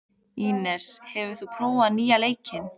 Ínes, hefur þú prófað nýja leikinn?